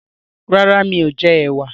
Rárá mi ò jẹ ẹ̀wà